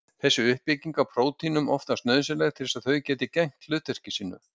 Þessi uppbygging er prótínunum oftast nauðsynleg til þess að þau geti gegnt hlutverki sínu.